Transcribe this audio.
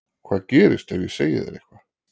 Hvað gerist ef ég segi þér eitthvað?